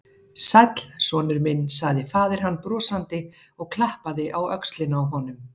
Sæll, sonur minn sagði faðir hans brosandi og klappaði á öxlina á honum.